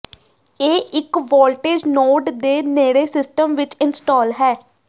ਇਹ ਇੱਕ voltage node ਦੇ ਨੇੜੇ ਸਿਸਟਮ ਵਿੱਚ ਇੰਸਟਾਲ ਹੈ